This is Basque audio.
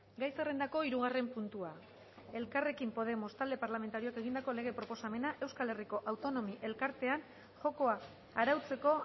gai zerrendako hirugarren puntua elkarrekin podemos talde parlamentarioak egindako lege proposamena euskal herriko autonomi elkartean jokoa arautzeko